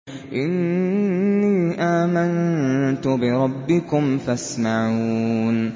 إِنِّي آمَنتُ بِرَبِّكُمْ فَاسْمَعُونِ